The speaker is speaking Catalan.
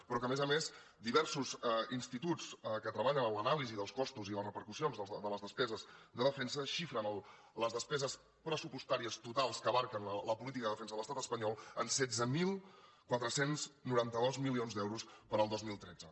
però a més a més diversos instituts que treballen en l’anàlisi dels costos i les repercussions de les despeses de defensa xifren les despeses pressupostàries totals que abasten la política de defensa de l’estat espanyol en setze mil quatre cents i noranta dos milions d’euros per al dos mil tretze